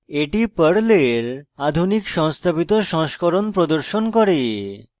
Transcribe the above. এটি পর্লের আধুনিক সংস্থাপিত সংস্করণ প্রদর্শন করে